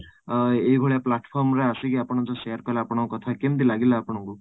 ଅଂ ଏଇ ଭଳିଆ platform ରେ ଆସିକି ଯୋଉ ଆପଣ share କଲେ ଆପଣଙ୍କ କଥା କେମିତି ଲାଗିଲା ଆପଣଙ୍କୁ ?